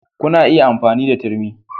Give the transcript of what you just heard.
Kuna iya amfani da turmi